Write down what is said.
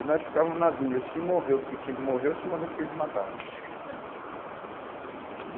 E nós ficávamos na dúvida, se morreu porque tinha que morrer ou se morreu porque eles matavam.